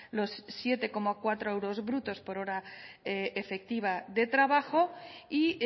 los siete coma cuatro euros brutos por hora efectiva de trabajo y